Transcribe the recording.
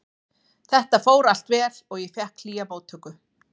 Þetta fór allt vel og ég fékk hlýja móttöku.